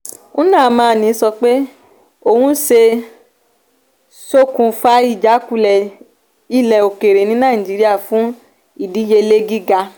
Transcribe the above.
nnamani sọ pé òun ṣe ṣokùnfà ìjákulẹ̀ ilé okere ní naijiriya fún ìdíyelé giga.